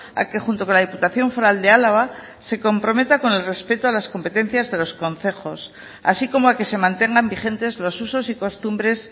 a que junto con la diputación foral de álava se comprometa con el respeto a las competencias de los concejos así como a que se mantengan vigentes los usos y costumbres